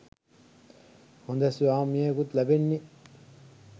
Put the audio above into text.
හොඳ ස්වාමියෙකුත් ලැබෙන්නෙ